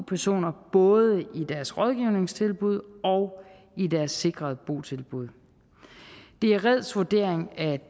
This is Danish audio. personer både i deres rådgivningstilbud og i deres sikrede botilbud det er reds vurdering at